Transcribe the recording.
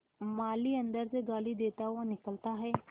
माली अंदर से गाली देता हुआ निकलता है